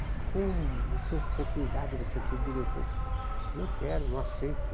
Mas com essa oportunidade de você ser diretor, não quero, não aceito.